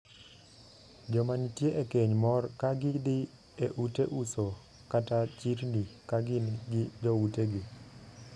Joma nitie e keny mor ka gidhii e ute uso kata chirni ka gin gi joutegi.